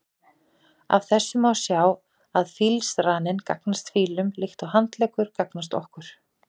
Af þessu má sjá að fílsraninn gagnast fílum líkt og handleggur gagnast okkur.